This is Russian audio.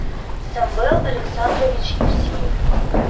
самвел александрович евсеев